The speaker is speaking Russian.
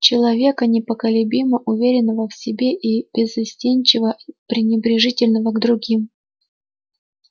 человека неколебимо уверенного в себе и беззастенчиво пренебрежительного к другим